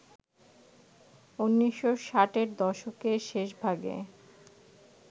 ১৯৬০-এর দশকের শেষভাগে